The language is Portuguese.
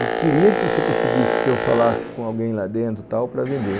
Eu queria que você conseguisse que eu falasse com alguém lá dentro e tal para vender.